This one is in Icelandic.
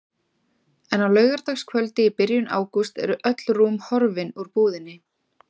En á laugardagskvöldi í byrjun ágúst eru öll rúm horfin úr búðinni.